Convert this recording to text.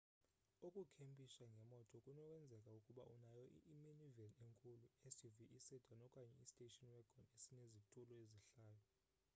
ukukhempisha ngemoto kunokwenzeka ukuba unayo i-minivan enkulu i-suv isedan okanye istation wagon esinezitulo ezihlayo